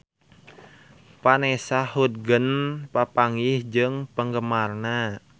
Vanessa Hudgens papanggih jeung penggemarna